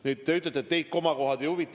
Nüüd, te ütlete, et teid komakohad ei huvita.